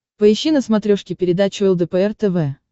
поищи на смотрешке передачу лдпр тв